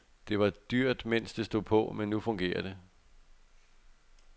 Det var dyrt mens det stod på, men nu fungerer det.